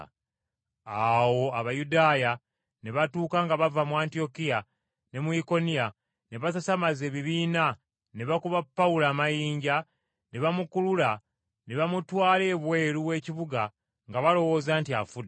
Awo Abayudaaya ne batuuka nga bava mu Antiyokiya ne mu Ikoniya, ne basasamaza ebibiina, ne bakuba Pawulo amayinja ne bamukulula ne bamutwala ebweru w’ekibuga nga balowooza nti afudde.